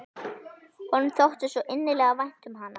Honum þótti svo innilega vænt um hana.